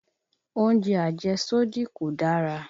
Oúnjẹ àjẹ́sódì kò dára